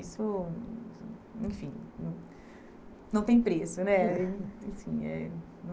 Isso Enfim... Não não tem preço, né?